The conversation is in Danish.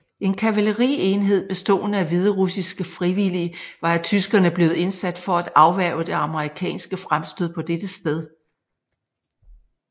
En kavalerienhed bestående af hviderussiske frivillige var af tyskerne blevet indsat for at afværge det amerikanske fremstød på dette sted